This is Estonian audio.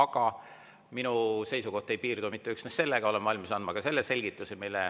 Kuid minu seisukoht ei piirdu mitte üksnes sellega, olen valmis andma selgituse.